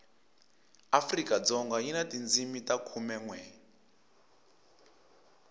afrikadzoga yi na tindzimi ta khumenwe